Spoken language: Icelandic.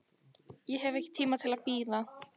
Ég hef ekki tíma til að bíða.